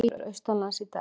Lægir austanlands í dag